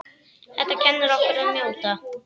Þetta kennir okkur að njóta.